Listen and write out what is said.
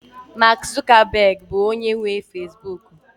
Mark Zuckerberg bụ onye nwe Facibụkụ